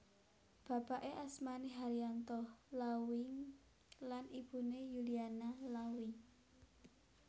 Bapake asmane Haryanto Lauwy lan ibune Yuliana Lauwy